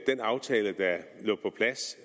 en aftale